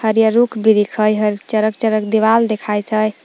हरियर रूख बीरिख़ हइ चरक चरक दिवाल देखाइत हइ ।